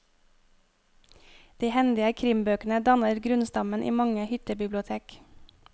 De hendige krimbøkene danner grunnstammen i mange hyttebibliotek.